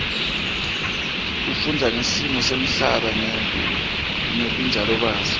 kufundza ngesimo semhlaba ngebunjalo baso